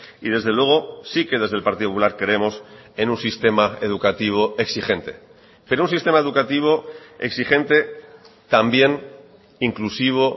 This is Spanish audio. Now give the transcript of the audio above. y desde luego sí que desde el partido popular creemos en un sistema educativo exigente pero un sistema educativo exigente también inclusivo